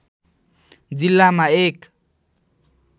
जिल्लामा एक